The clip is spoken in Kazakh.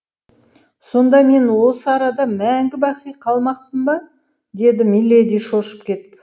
сонда мен осы арада мәңгі бақи қалмақпын ба деді миледи шошып кетіп